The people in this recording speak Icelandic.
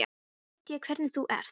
Nú veit ég hvernig þú ert!